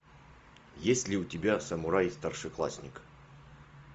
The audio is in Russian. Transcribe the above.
есть ли у тебя самурай старшеклассник